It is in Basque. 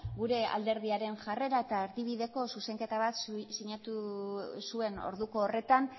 gure alderdiaren jarrera eta erdibideko zuzenketa bat sinatu zuen orduko horretan